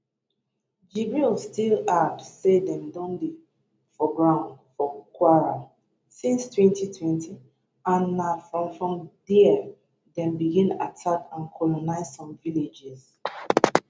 jibril still add say dem don dey for ground for kwara since 2020 and na from from dia dem begin attack and colonise some villages